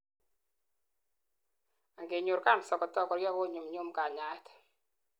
amgenyor cancer kotakokoria konyumnyum kanyaet